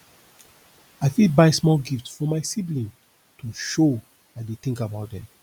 i fit buy small gift for my sibling to show i dey think about them